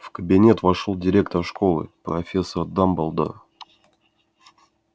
в кабинет вошёл директор школы профессор дамблдор